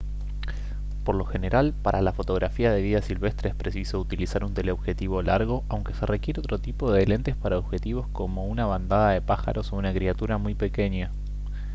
por lo general para la fotografía de vida silvestre es preciso utilizar un teleobjetivo largo aunque se requiere otro tipo de lentes para objetivos como una bandada de pájaros o una criatura muy pequeña